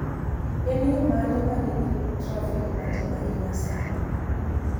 En yo mane ma nigi trafik matin ahinya sani